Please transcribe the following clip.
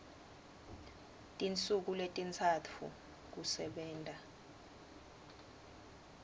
tinsuku letintsatfu kusebenta